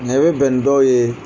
Nka i bɛ bɛn ni dɔw ye